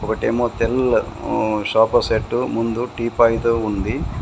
ఒకటేమో తెల్ల మ్మ్ సోఫాసెట్ ముందు టిపైలు ఉంది.